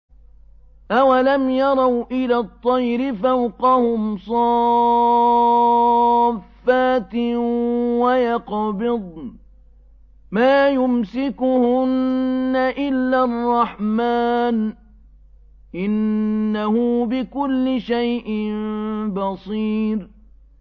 أَوَلَمْ يَرَوْا إِلَى الطَّيْرِ فَوْقَهُمْ صَافَّاتٍ وَيَقْبِضْنَ ۚ مَا يُمْسِكُهُنَّ إِلَّا الرَّحْمَٰنُ ۚ إِنَّهُ بِكُلِّ شَيْءٍ بَصِيرٌ